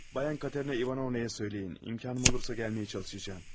Bayan Katerina İvanovnaya söyləyin, imkanım olursa gəlməyə çalışacam.